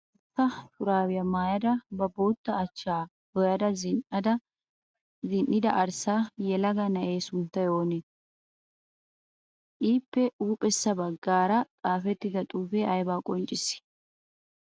Bootta shuraabiya mayyada ba bootta achchaa dooyada zin'ida arssa yelaga na'ee sunttay oonee? Iippe huuphessa baggaara xaafettida xuufee ayibaa qonccissii?